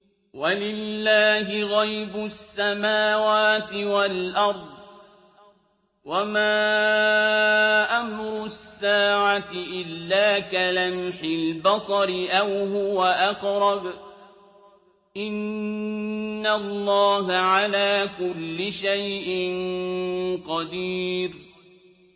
وَلِلَّهِ غَيْبُ السَّمَاوَاتِ وَالْأَرْضِ ۚ وَمَا أَمْرُ السَّاعَةِ إِلَّا كَلَمْحِ الْبَصَرِ أَوْ هُوَ أَقْرَبُ ۚ إِنَّ اللَّهَ عَلَىٰ كُلِّ شَيْءٍ قَدِيرٌ